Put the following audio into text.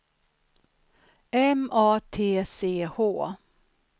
M A T C H